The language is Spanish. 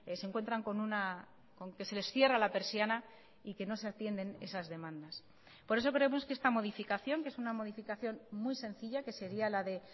se encuentran con que se les cierra la persiana y que no se atienden esas demandas por eso creemos que esta modificación que es una modificación muy sencilla que sería la de